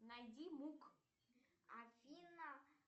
найди мук афина